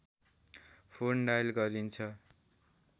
phone dial गरिन्छ